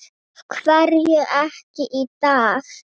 Af hverju ekki í dag?